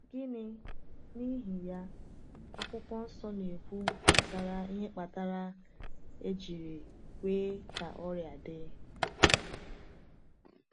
Gịnị, n’ihi ya, Akwụkwọ Nsọ na-ekwu gbasara ihe kpatara a jiri kwe ka ọrịa dị?